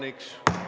Head õhtut!